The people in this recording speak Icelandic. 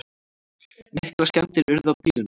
Miklar skemmdir urðu á bílunum